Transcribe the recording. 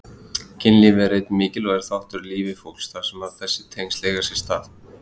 Kynlíf er einn mikilvægur þáttur í lífi fólks þar sem þessi tengsl eiga sér stað.